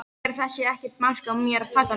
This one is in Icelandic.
Segir að það sé ekkert mark á mér takandi.